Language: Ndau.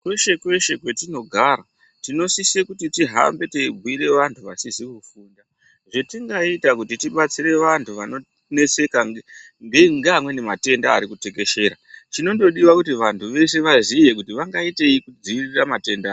Kweshe kweshe kwetinogara tinosise kuti tihambe teibhire vanthu vasizi kufunda zvetingaita kuti tibatsire vanthu vanoneseka ngeamweni matenda ari kutekeshera chinongodiwa kuti vanthu veshe vaziye kuti vangaitei kudzivirira matenda aya.